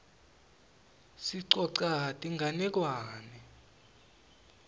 sicoca tinganekwane